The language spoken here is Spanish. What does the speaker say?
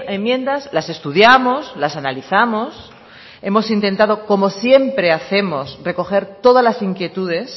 enmiendas las estudiamos las analizamos hemos intentado como siempre hacemos recoger todas las inquietudes